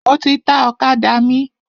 Mo ti ta ọ̀kadà mi.